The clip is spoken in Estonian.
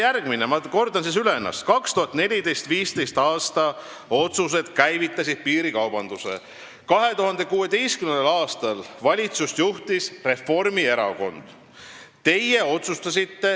Teie 2014.–2015. aasta otsused käivitasid piirikaubanduse ja 2016. aastal juhtis valitsust ka Reformierakond.